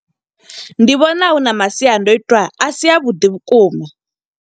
Ndi vhona huna masiandoitwa, a si avhuḓi vhukuma.